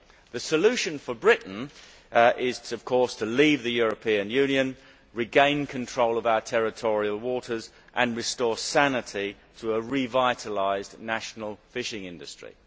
The solution for Britain is, of course, to leave the European Union, regain control of our territorial waters and restore sanity to a revitalised national fishing industry.